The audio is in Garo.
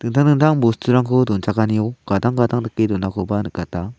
dingtang dingtang bosturangko donchakanio gadang gadang dake donakoba nikata.